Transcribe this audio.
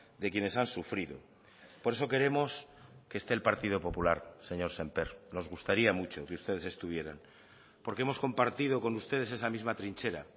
de quienes han sufrido por eso queremos que esté el partido popular señor sémper nos gustaría mucho que ustedes estuvieran porque hemos compartido con ustedes esa misma trinchera